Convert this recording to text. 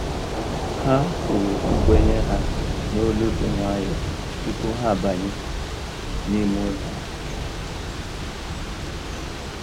Ha kwuru nkwenye ha n'olu dị nwayọọ tupu ha abanye n'ime ụlọ ahụ